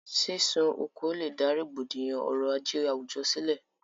sísun oko lèdá rògbòdìyàn ọrọ̀-ajé àwùjọ sílẹ̀.